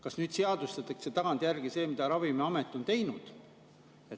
Kas nüüd seadustatakse tagantjärele see, mida Ravimiamet on juba teinud?